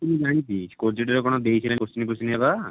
ମୁଁ ଜାଣିଛି project ର କଣ ଦେଇଥିଲେ question ଫୋସଚିନ ତ?